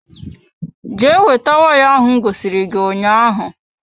Jee weta waya ahụ m gosiri gị ụnyaahụ